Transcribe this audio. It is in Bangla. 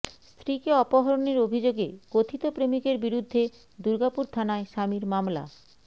স্ত্রীকে অপহরণের অভিযোগে কথিত প্রেমিকের বিরুদ্ধে দূর্গাপুর থানায় স্বামীর মামলা